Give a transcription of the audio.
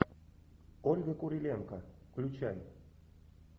ольга куриленко включай